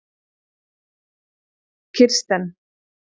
Kirsten